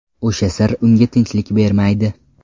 O‘sha sir unga tinchlik bermaydi.